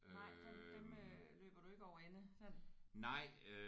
Nej dem dem øh løber du ikke over ende sådan?